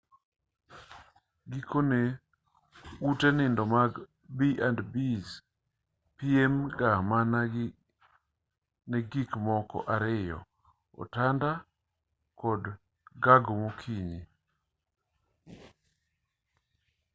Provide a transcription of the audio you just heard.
gikone ute nindo mag b&bs piem ga mana ne gik moko ariyo otanda kod gago mokinyi